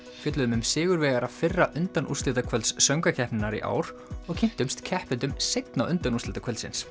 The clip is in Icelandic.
fjölluðum um sigurvegara fyrra söngvakeppninnar í ár og kynntumst keppendum seinna